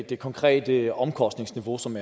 det konkrete omkostningsniveau som